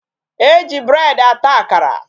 E ji bread ata akara.